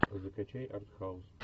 закачай артхаус